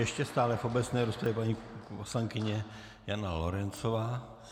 Ještě stále v obecné rozpravě paní poslankyně Jana Lorencová.